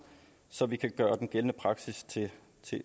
så vi kan gøre den gældende praksis til